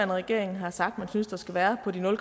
regering har sagt de synes der skal være på nul